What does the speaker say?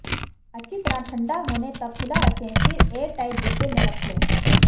अच्छी तरह ठंडा होने तक खुला रखें फिर एयर टाइट डिब्बे में रख लें